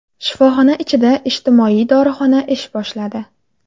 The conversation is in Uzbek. Shifoxona ichida ijtimoiy dorixona ish boshladi.